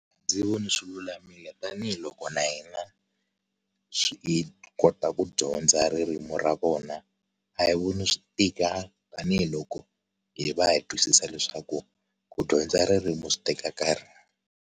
Ndzi vona swilulamile tanihiloko na hina swi hi kota ku dyondza ririmi ra vona a hi voni swi tika tanihiloko hi va hi twisisa leswaku ku dyondza ririmi swi teka nkarhi.